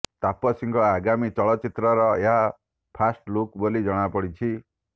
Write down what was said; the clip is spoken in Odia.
ତାପସୀଙ୍କ ଆଗାମୀ ଚଳଚ୍ଚିତ୍ରର ଏହା ଫାଷ୍ଟ ଲୁକ ବୋଲି ଜଣାପଡିଛି